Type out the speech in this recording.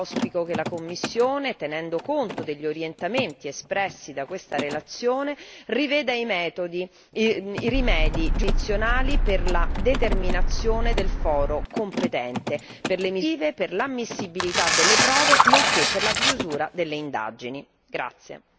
In particolare, auspico che la Commissione, tenendo conto degli orientamenti espressi da questa relazione, riveda i metodi, i rimedi giurisdizionali per la determinazione del foro competente per le misure investigative, per l'ammissibilità delle prove nonché per la chiusura delle indagini.